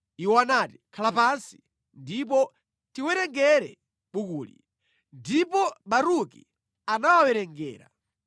Iwo anati, “Khala pansi, ndipo tiwerengere bukuli.” Ndipo Baruki anawawerengera.